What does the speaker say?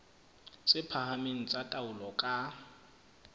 tse phahameng tsa taolo ka